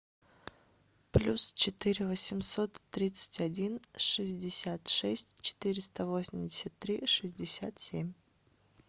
плюс четыре восемьсот тридцать один шестьдесят шесть четыреста восемьдесят три шестьдесят семь